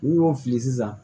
N'i y'o fili sisan